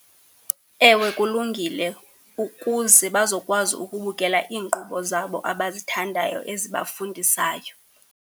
Ewe kulungile, ukuze bazokwazi ukubukela iinkqubo zabo abazithandayo ezibafundisayo.